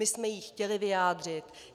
My jsme ji chtěli vyjádřit.